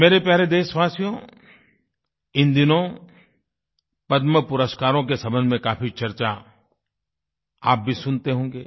मेरे प्यारे देशवासियो इन दिनों पद्मपुरस्कारों के संबंध में काफी चर्चा आप भी सुनते होंगे